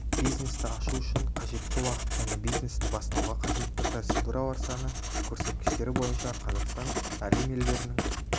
бизнесті ашу үшін қажетті уақыт және бизнесті бастауға қажетті процедуралар саны көрсеткіштері бойынша қазақстан әлем елдерінің